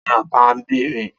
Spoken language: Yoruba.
Ta ni ọbabinrin?